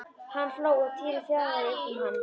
Hann hló og Týri flaðraði upp um hann.